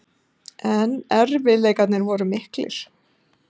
En erfiðleikarnir voru miklir.